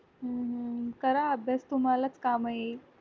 हम्म करा अभ्यास तुम्हालाच काम येईल